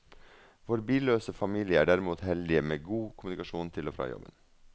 Vår billøse familie er derimot heldig med god kommunikasjon til og fra jobben.